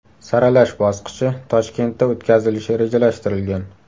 Saralash bosqichi Toshkentda o‘tkazilishi rejalashtirilgan.